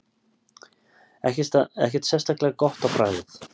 Ekkert sérstaklega gott á bragðið.